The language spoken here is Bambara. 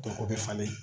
Dɔ o bɛ falen